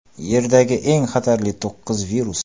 Yerdagi eng xatarli to‘qqiz virus.